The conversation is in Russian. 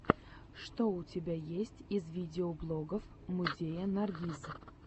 что у тебя есть из видеоблогов музея наргиз